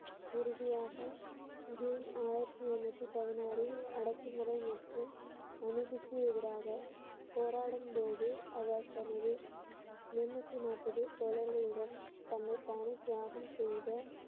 இறுதியாக ஜூன் ஆயிரத்தி எழுநூத்தி பதினாறில் அடக்குமுறை மற்றும் அநீதிக்கு எதிராக போராடும் போது அவர் தனது எழுநூத்தி நாப்பது தோழர்களுடன் தன்னைத்தானே தியாகம் செய்த